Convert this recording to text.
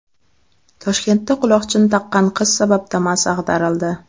Toshkentda quloqchin taqqan qiz sabab Damas ag‘darildi.